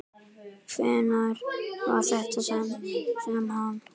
Hvenær var þetta sem hann.